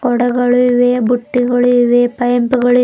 ಮೋಡಗಳು ಇವೆ ಬುಟ್ಟಿಗಳು ಇವೆ ಪೈಪುಗಳು ಇವ್--